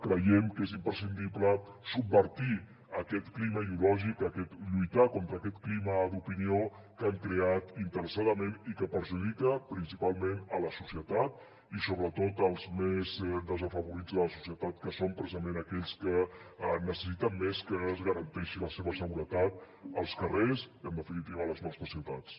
creiem que és imprescindible subvertir aquest clima ideològic aquest lluitar contra aquest clima d’opinió que han creat interessadament i que perjudica principalment a la societat i sobretot als més desafavorits de la societat que són precisament aquells que necessiten més que es garanteixi la seva seguretat als carrers i en definitiva a les nostres ciutats